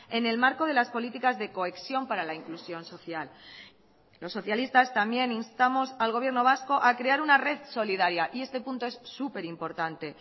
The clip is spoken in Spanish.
en el marco de las políticas de cohesión para la inclusión social los socialistas también instamos al gobierno vasco a crear una red solidaria y este punto es súper importante